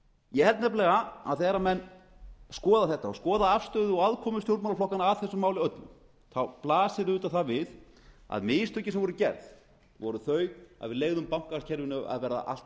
ég held nefnilega að þegar menn skoða þetta og skoða afstöðu og aðkomu stjórnmálaflokkanna að þessu máli öllu þá blasir það auðvitað við að mistökin sem voru gerð voru þau að við leyfðum bankakerfinu að verða allt of stóru án